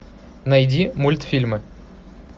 найди мультфильмы